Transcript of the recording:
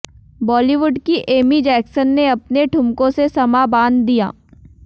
बॉलीवुड की Amy Jackson ने अपने ठुमकों से समां बांध दिया